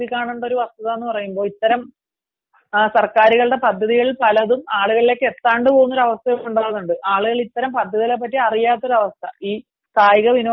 അതിൽ നമ്മൾ നോക്കിക്കാണേണ്ട ഒരു വസ്തുത എന്ന് പറയുമ്പോൾ ഇത്തരം സർക്കാരുകളുടെ പദ്ധതിയിൽപലതും ആളുകളിലേക്ക് എത്താതെ പോകുന്ന ഒരു അവസ്ഥ ഉണ്ടാകുന്നുണ്ട് ആളുകൾ ഇത്തരം പദ്ധതികളെപ്പറ്റി അറിയാതിരുന്ന അവസ്‌ഥ